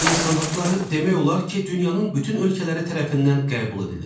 İnsan haqları demək olar ki, dünyanın bütün ölkələri tərəfindən qəbul edilir.